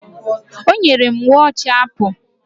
O nyere m wọochi Apụ